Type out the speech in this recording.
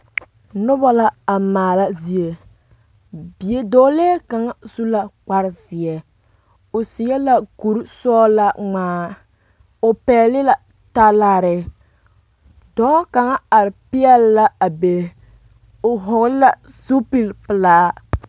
noba a maala zie bidɔɔlee kaŋ su la kpar zeɛ o seɛ la kuri sɔgelaa ŋmaa o pɛgele la talaare dɔɔ kaŋa are peɛle la a be o hɔgele la zupili pelaa